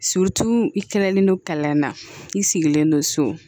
i kɛlen don kala na i sigilen don so